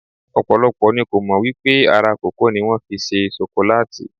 Ọ̀pọ̀lọpọ̀ ni kò mọ̀ wípé ara kòkó ni wón fi ṣe ṣokolátì.